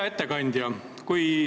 Hea ettekandja!